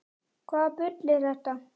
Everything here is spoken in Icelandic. Hvaða bull er þetta?